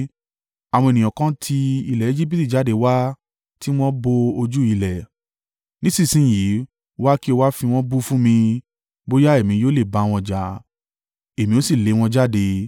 ‘Àwọn ènìyàn kan ti ilẹ̀ Ejibiti jáde wá tí wọ́n bo ojú ilẹ̀. Nísinsin yìí, wá, kí o wá fi wọ́n bú fún mi. Bóyá èmi yóò lè bá wọn jà, èmi ó sì lé wọn jáde.’ ”